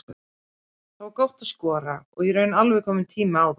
Það var gott að skora og í raun alveg kominn tími á það.